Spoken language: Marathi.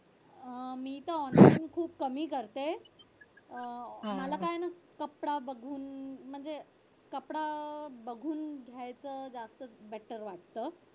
अह मी तर online shopping खूप कमी करते अह मला काय आहे ना कपडा बघून म्हणजे कपडा बघून घ्यायचं जास्त better वाटत.